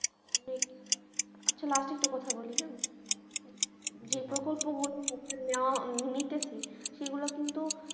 একটা কথা বলি হ্যাঁ নেওয়া ~নিতেছি সেগুলো কিন্তু